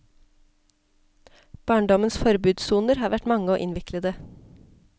Barndommens forbudssoner har vært mange og innviklede.